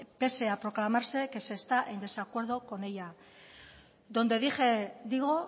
pese a proclamarse que se está en desacuerdo con ella donde dije digo